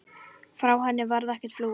Frá henni varð ekki flúið.